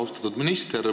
Austatud minister!